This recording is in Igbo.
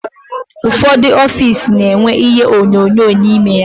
Ụfọdụ ọffici na-enwe ihe onyonyo n'ime ya.